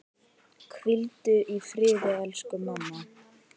Hvíldu í friði, elsku mamma.